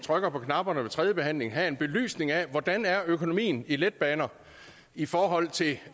trykker på knapperne ved tredje behandling have en belysning af hvordan økonomien er i letbaner i forhold til